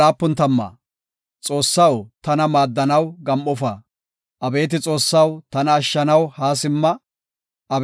Abeeti Xoossaw tana ashshanaw haa simma; abeeti Godaw, tana maaddanaw ellesa.